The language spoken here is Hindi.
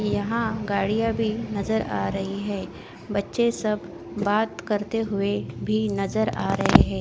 यहाँ गाड़िया भी नज़र आ रही है बच्चे सब बात करते हुए भी नज़र आ रहे है।